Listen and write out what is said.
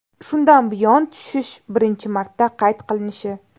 Shundan buyon tushish birinchi marta qayd qilinishi.